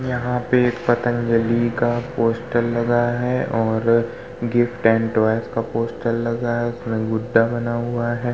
यहाँ पर पतंजलि का पोस्टर लगा है और गिफ्ट का पोस्टर लगा है उसमें गुड्डा बना हुआ है।